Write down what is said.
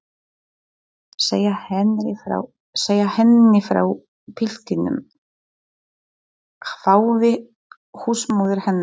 Segja henni frá piltinum? hváði húsmóðir hennar.